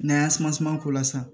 N'an y'an suman suman k'o la sisan